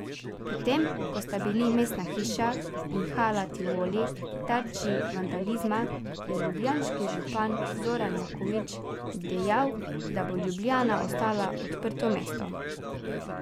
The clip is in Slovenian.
Potem ko sta bili mestna hiša in Hala Tivoli tarči vandalizma, je ljubljanski župan Zoran Janković dejal, da bo Ljubljana ostala odprto mesto.